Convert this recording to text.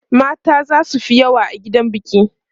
mata zasu Fi yawa a gidan biki